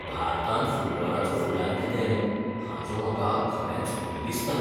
भारतांत फुटबॉलाचो फुडार कितें, हाचो म्हाका खरेच भंय दिसता